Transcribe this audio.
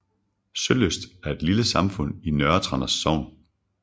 Sølyst er et lille samfund i Nørre Tranders Sogn